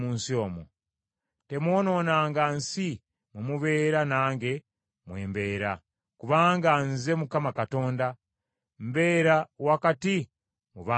Temwonoonanga nsi mwe mubeera nange mwe mbeera, kubanga Nze, Mukama Katonda, mbeera wakati mu baana ba Isirayiri.’ ”